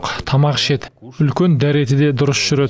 тамақ ішеді үлкен дәреті де дұрыс жүреді